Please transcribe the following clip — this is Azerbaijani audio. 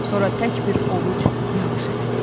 Sonra tək bir ovuc yağış ələdi.